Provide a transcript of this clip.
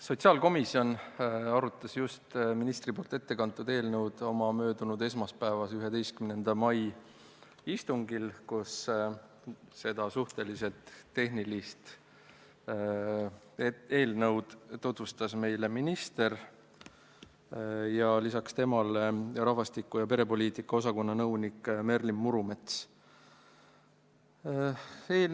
Sotsiaalkomisjon arutas ministri poolt äsja ette kantud eelnõu möödunud esmaspäeval, 11. mail, kus seda suhteliselt tehnilist eelnõu tutvustasid minister ning Siseministeeriumi rahvastiku- ja perepoliitika osakonna nõunik Merlin Murumets.